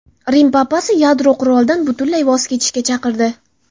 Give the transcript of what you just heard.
Rim papasi yadro qurolidan butunlay voz kechishga chaqirdi.